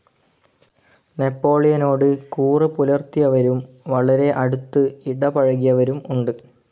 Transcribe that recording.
നെപ്പോളിയനോട് കൂറ് പുലർത്തിയവരും വളരെ അടുത്ത് ഇടപഴകിയവരും ഉണ്ട്.